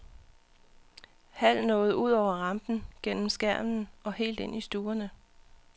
Hal nåede ud over rampen, gennem skærmen og helt ind i stuerne.